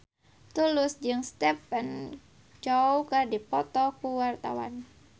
Tulus jeung Stephen Chow keur dipoto ku wartawan